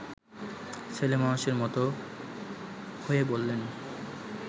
ছেলেমানুষের মতো হয়ে বললেন